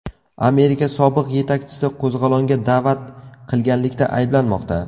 Amerika sobiq yetakchisi qo‘zg‘olonga da’vat qilganlikda ayblanmoqda.